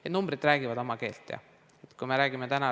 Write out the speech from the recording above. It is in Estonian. Need numbrid räägivad oma keelt, jah.